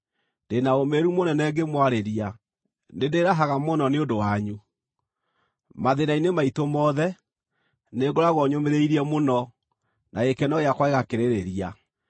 Ndĩ na ũũmĩrĩru mũnene ngĩmwarĩria; nĩndĩĩrahaga mũno nĩ ũndũ wanyu. Mathĩĩna-inĩ maitũ mothe, nĩngoragwo nyũmĩrĩirie mũno, na gĩkeno gĩakwa gĩgakĩrĩrĩria.